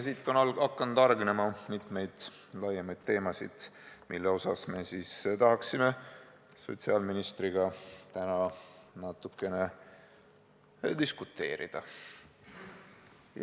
Siit on hakanud hargnema mitmeid laiemaid teemasid, mille üle me tahaksime sotsiaalministriga täna natukene diskuteerida.